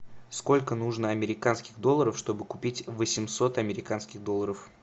сколько нужно американских долларов чтобы купить восемьсот американских долларов